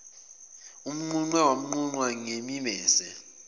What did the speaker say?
umnquqe wanqunqwa ngemimese